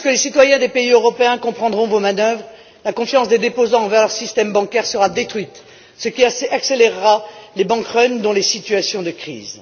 Lorsque les citoyens des pays européens comprendront vos manœuvres, la confiance des déposants envers leur système bancaire sera détruite, ce qui accélérera les Bank Runs dans les situations de